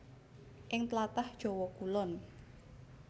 Ing tlatah Jawa Kulon